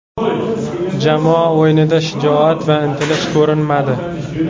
Jamoa o‘yinida shijoat va intilish ko‘rinmadi.